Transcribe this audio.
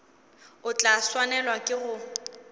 o tla swanelwa ke go